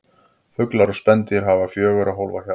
Fuglar og spendýr hafa fjögurra hólfa hjarta.